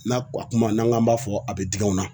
N'a kuma n'an k'an b'a fɔ a bɛ digi anw na